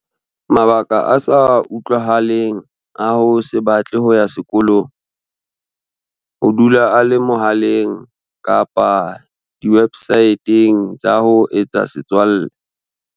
Mabaka a sa utlwahaleng a ho se batle ho ya sekolong. Ho dula a le mohaleng kapa diwebsae teng tsa ho etsa setswalle.